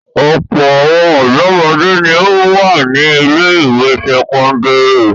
Ọ̀pọ̀ àwọn ọ̀dọ́mọdé ni ó wà ní ilé-ìwé sẹ́kọ́ndárì.